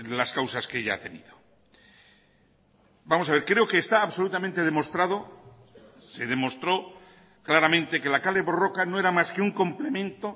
las causas que ya ha tenido vamos a ver creo que está absolutamente demostrado se demostró claramente que la kale borroka no era más que un complemento